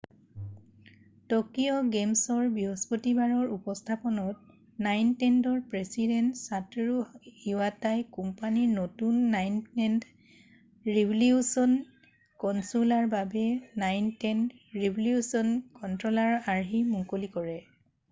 Tokyo game শ্ব'ৰ বৃহস্পতিবাৰৰ উপস্থাপনত নাইনটেণ্ডৰ প্ৰেছিডেণ্ট ছাটৰু ইৱাটাই কোম্পানীৰ নতুন নাইনটেণ্ড' ৰিভলিউচন কনছোলৰ বাবে নাইনটেণ্ড' ৰিভলিউচন কণ্ট্ৰ'লাৰৰ আৰ্হি মুকলি কৰে